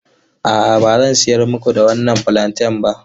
A'a, ba zan sayar muku da wannan fulanten ba.